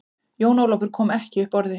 Jón Ólafur kom ekki upp orði.